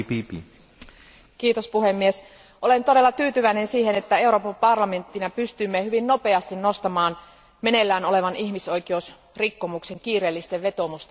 Arvoisa puhemies, olen todella tyytyväinen siihen, että Euroopan parlamenttina pystyimme hyvin nopeasti nostamaan meneillään olevan ihmisoikeusrikkomuksen kiireellisten vetoomusten listalle.